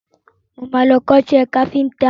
Mo máa lọ kọ́ṣẹ́ káfíntà.